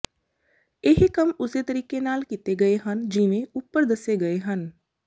ਇਹ ਕੰਮ ਉਸੇ ਤਰੀਕੇ ਨਾਲ ਕੀਤੇ ਗਏ ਹਨ ਜਿਵੇਂ ਉਪਰ ਦੱਸੇ ਗਏ ਹਨ